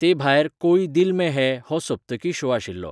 तेभायर, 'कोई दिल में हैं' हो सप्तकी शो आशिल्लो.